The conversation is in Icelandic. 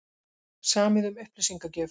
Samið um upplýsingagjöf